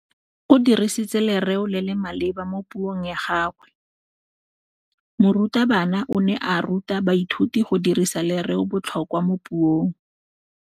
O dirisitse lerêo le le maleba mo puông ya gagwe. Morutabana o ne a ruta baithuti go dirisa lêrêôbotlhôkwa mo puong.